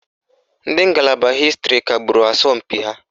Ndị ngalaba hịstịrị kagburu asọmpi ahụ